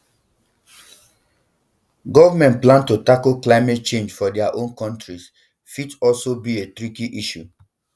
governments plan to tackle climate change for dia own countries fit also be a tricky issue